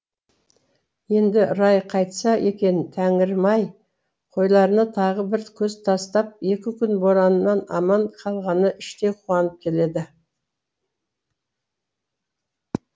енді райы қайтса екен тәңірім ай қойларына тағы бір көз тастап екі күн бораннан аман қалғанына іштей қуанып келеді